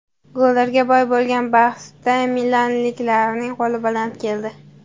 Gollarga boy bo‘lgan bahsda milanliklarning qo‘li baland keldi.